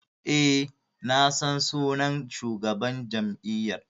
E, na san shugaban jam'iyyar.